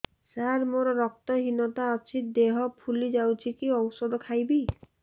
ସାର ମୋର ରକ୍ତ ହିନତା ଅଛି ଦେହ ଫୁଲି ଯାଉଛି କି ଓଷଦ ଖାଇବି